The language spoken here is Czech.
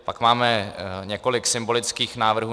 Pak máme několik symbolických návrhů.